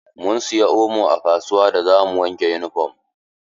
Mun siya omo a kasuwa da zamu wanke yunifom.